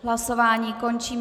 Hlasování končím.